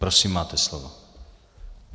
Prosím, máte slovo.